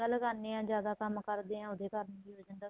ਨਿਗਾਂ ਲਗਾਣੇ ਹਾਂ ਜਿਆਦਾ ਕੰਮ ਕਰਦੇ ਹਾਂ ਉਹਦੇ ਕਾਰਨ ਵੀ ਹੋ ਜਾਂਦਾ ਏ